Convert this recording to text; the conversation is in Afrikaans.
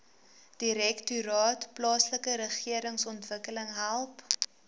direktoraat plaaslikeregeringsontwikkeling help